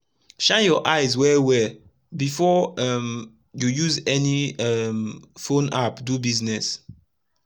shine ur eyes wel wel before um u use any um phone app do business